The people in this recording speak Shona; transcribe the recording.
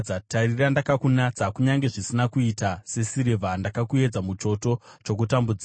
Tarira, ndakakunatsa, kunyange zvisina kuita sesirivha; ndakakuedza muchoto chokutambudzika.